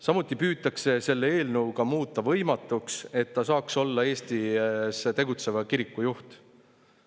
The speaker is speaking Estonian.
Samuti püütakse selle eelnõuga muuta võimatuks, et ta saaks olla Eestis tegutseva kiriku juht.